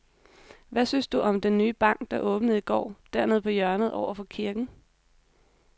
Hvad synes du om den nye bank, der åbnede i går dernede på hjørnet over for kirken?